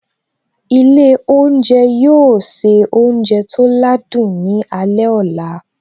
Ilé oúnjẹ yóò se oúnjẹ tó ládùn ní alẹ́ ọ̀la